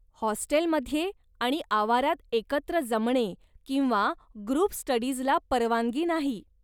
होस्टेलमध्ये आणि आवारात एकत्र जमणे किंवा ग्रुप स्टडीजला परवानगी नाही.